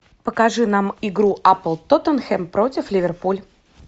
покажи нам игру апл тоттенхэм против ливерпуль